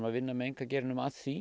vinna með einkageiranum að því